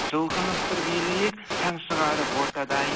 жұлқынып бір билейік шаң шығарып ортада ай